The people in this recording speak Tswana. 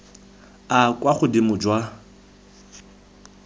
a a kwa godimo jwa